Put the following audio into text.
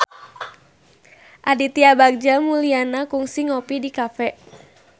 Aditya Bagja Mulyana kungsi ngopi di cafe